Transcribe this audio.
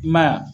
I m'a ye wa